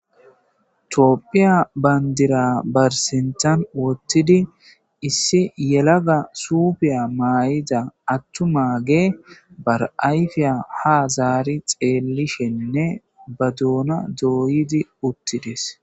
toophphiya bandira barsintan wottidi issi yelaga suufiya maayida attu mage bar7ayfiya ha zaari xeelishenne ba duona dooyidi uttides